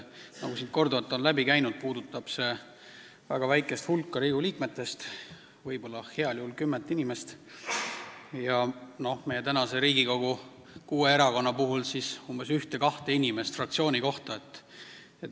Nagu siin korduvalt on läbi käinud, puudutab see väga väikest hulka Riigikogu liikmeid, võib-olla heal juhul kümmet inimest, meie praeguse Riigikogu kuue erakonna puhul siis ühte-kahte inimest fraktsiooni kohta.